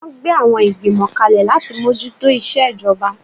Wọ́n gbé àwọn Ìgbìmọ̀ kalẹ̀ láti mójú tó ìṣejọba